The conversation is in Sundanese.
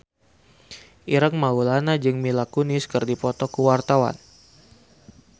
Ireng Maulana jeung Mila Kunis keur dipoto ku wartawan